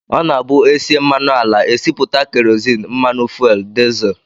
Ọ na-abụ e sie mmanụ ala, e sipụta kerozin, mmanụ fuel, dizel